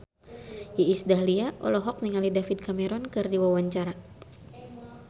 Iis Dahlia olohok ningali David Cameron keur diwawancara